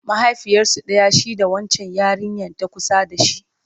mahaifiyarsu ɗaya shi da wancan yarinyan ta kusa da shi?